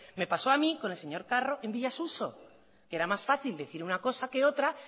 me pasó a mí con el señor carro en villa suso que era más fácil decir una cosa que otra